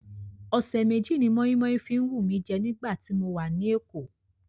Ọ̀sẹ̀ méjì ni moinmoin fi wù mí jẹ́ nígbà tí mo wà ní Èkó.